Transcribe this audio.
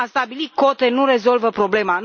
A stabili cote nu rezolvă problema.